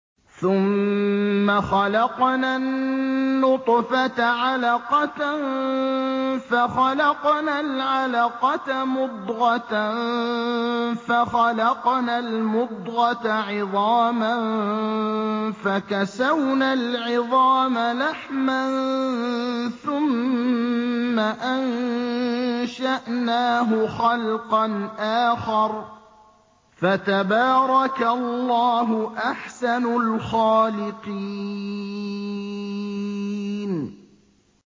ثُمَّ خَلَقْنَا النُّطْفَةَ عَلَقَةً فَخَلَقْنَا الْعَلَقَةَ مُضْغَةً فَخَلَقْنَا الْمُضْغَةَ عِظَامًا فَكَسَوْنَا الْعِظَامَ لَحْمًا ثُمَّ أَنشَأْنَاهُ خَلْقًا آخَرَ ۚ فَتَبَارَكَ اللَّهُ أَحْسَنُ الْخَالِقِينَ